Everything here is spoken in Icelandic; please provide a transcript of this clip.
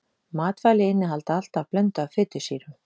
Matvæli innihalda alltaf blöndu af fitusýrum.